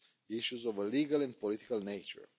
issues of a legal and political nature.